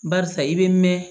Barisa i bɛ mɛn